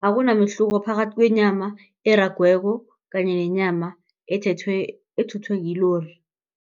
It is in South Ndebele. Akunamehluko phakathi kwenyama eragweko kanye nenyama ethethwe ethuthwe kilori.